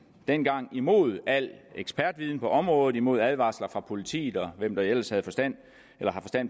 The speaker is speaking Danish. dengang imod al ekspertviden på området imod advarsler fra politiet og hvem der ellers har forstand